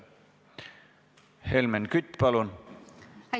Helmen Kütt, palun!